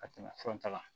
Ka tɛmɛ fura ta kan